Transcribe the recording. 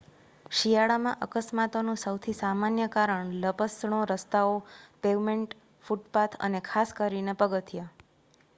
શિયાળામાં અકસ્માતોનું સૌથી સામાન્ય કારણ લપસણો રસ્તાઓ પેવમેન્ટ ફૂટપાથ અને ખાસ કરીને પગથિયા